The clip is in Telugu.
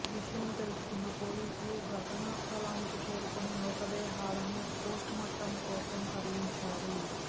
విషయం తెలుసుకున్న పోలీసులు ఘటనా స్థలానికి చేరుకుని మృతదేహాలను పోస్టుమార్టం కోసం తరలించారు